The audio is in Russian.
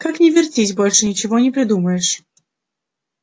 как ни вертись больше ничего не придумаешь